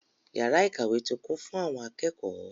Yàrá ìkàwé ti kún fún àwọn akẹ́kọ̀ọ́.